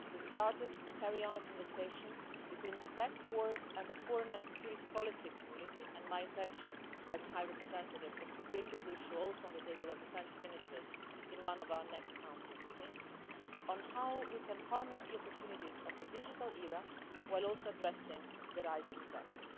We've started to carry on a conversation between the tech world and the foreign and security policy community, and my intention as High Representative is to put this issue on the table for the defence ministers, too, at one of our next Council meetings the question of how we can harness the opportunities of the digital era while also addressing the rising threats.